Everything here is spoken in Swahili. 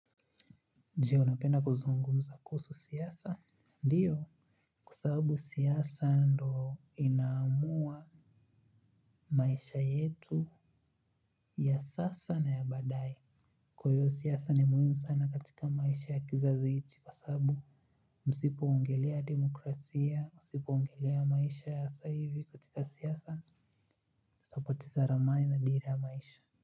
Je unapenda kuzungumza kuhusu siasa? Ndiyo kwa sababu siasa ndo inaamua maisha yetu ya sasa na ya baadaye kwa hiyo siasa ni muhimu sana katika maisha ya kizazi hichi kwa sababu msipo ongelea demokrasia, msipo ongelea maisha ya saa hivi katika siasa, tutapoteza ramani na dira ya maisha.